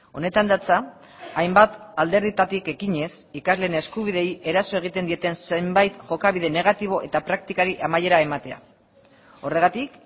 honetan datza hainbat alderdietatik ekinez ikasleen eskubideei eraso egiten dieten zenbait jokabide negatibo eta praktikari amaiera ematea horregatik